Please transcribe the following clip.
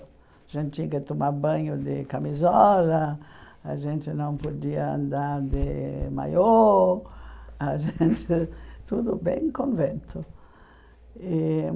A gente tinha que tomar banho de camisola, a gente não podia andar de maiô, a gente tudo bem convento. E